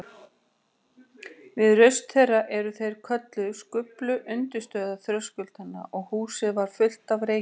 Við raust þeirra, er þeir kölluðu, skulfu undirstöður þröskuldanna og húsið varð fullt af reyk.